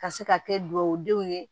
Ka se ka kɛ dugawudenw ye